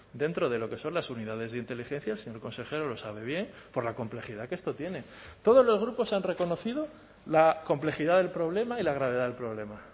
dentro de lo que son las unidades de inteligencia el señor consejero lo sabe bien por la complejidad que esto tiene todos los grupos han reconocido la complejidad del problema y la gravedad del problema